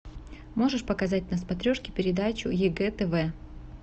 можешь показать на смотрешке передачу егэ тв